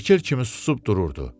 Şəkil kimi susub dururdu.